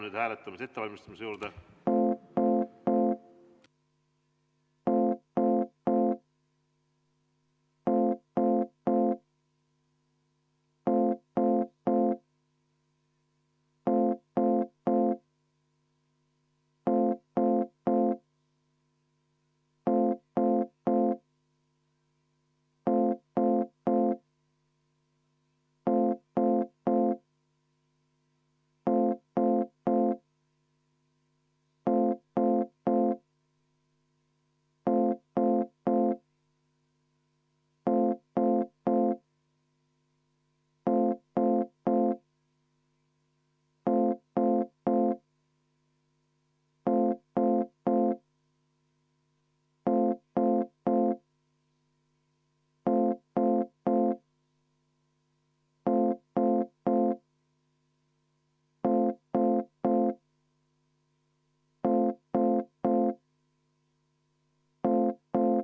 Läheme hääletamise ettevalmistamise juurde.